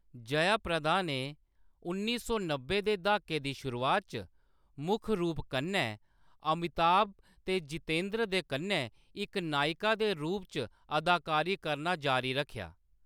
जयाप्रदा ने उन्नी सौ नब्बै दे द्हाके दी शुरुआत च मुक्ख रूप कन्नै अमिताभ ते जितेंद्र दे कन्नै इक नायिका दे रूप च अदाकारी करना जारी रक्खेआ।